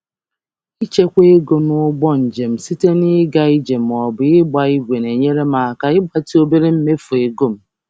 Ịchekwara ego na njem site n'ije ma ọ bụ iji kọọ bụụ na-enyere aka mgbatị mmefu ego m dị ntakịrị.